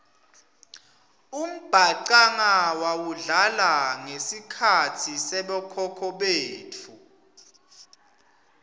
umbhacanga wawudlala ngesikhatsi sabokhokho betfu